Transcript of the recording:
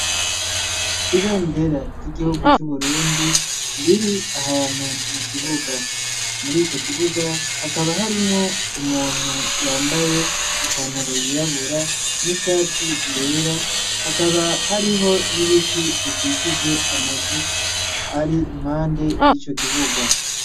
Ibendera ry'igihugu cu burundi riri ahantu mu kibuga murico kibuga hakaba harimwo umuntu yambaye ipantaro yirabura n'ishati yera hakaba hariho n'ibiti bikikije amazu ari impande yico kibuga.